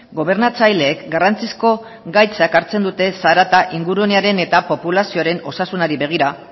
gobernatzaileek garrantzizko gaitzak hartzen dute zarata ingurunearen eta populazioaren osasunari begira